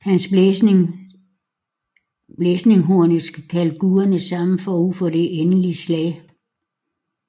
Hans blæsning hornet skal kalde guderne sammen forud for det endelige slag